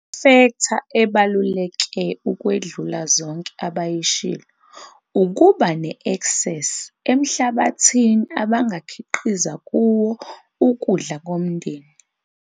Ifektha ebaluleke ukwedlula zonke abayishilo ukuba ne-eksesi emhlabathini abangakhiqiza kuwo ukudla komndeni.